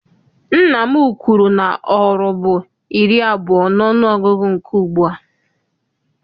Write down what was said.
Nna m kwuru na oru bụ iri abụọ n'ọnụgụgụ nke ugbua.